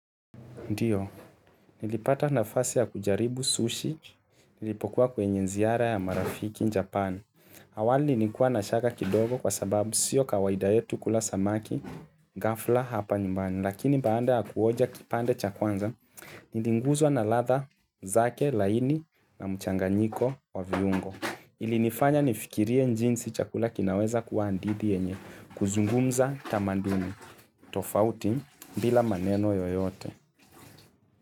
Ndio, nilipata nafasi ya kujaribu sushi, nilipokuwa kwenye ziara ya marafiki Japan. Awali nikuwa na shaka kidogo kwa sababu sio kawaida yetu kula samaki, ghafla hapa nyumbani. Lakini baada ya kuonja kipande cha kwanza, niliguzwa na ladha, zake, laini, na mchanganyiko wa viungo. Ilinifanya nifikirie jinsi chakula kinaweza kuwa hadithi yenye, kuzungumza tamanduni, tofauti, bila maneno yoyote.